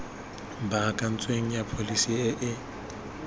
baakantsweng ya pholesi e e